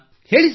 ಹೇಳಿ ಸರ್